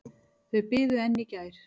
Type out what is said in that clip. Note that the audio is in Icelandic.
Þau biðu enn í gær.